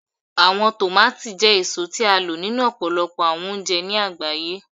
Awọn tomati jẹ eso ti a lo ninu ọpọlọpọ awọn ounjẹ ni agbaye